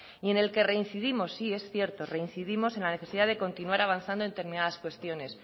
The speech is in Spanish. y en el que reincidimos sí es cierto reincidimos en la necesidad de continuar avanzando en determinadas cuestiones